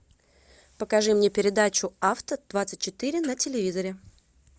покажи мне передачу авто двадцать четыре на телевизоре